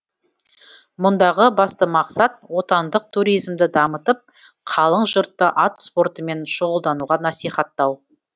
мұндағы басты мақсат отандық туризмді дамытып қалың жұртты ат спортымен шұғылдануға насихаттау